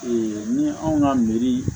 ni anw ka meri